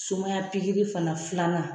Sumaya pikiri fana filanan